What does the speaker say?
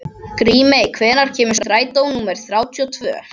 Grímey, hvenær kemur strætó númer þrjátíu og tvö?